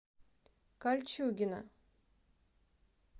кольчугино